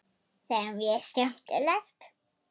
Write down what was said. Það er mjög skemmtilegt.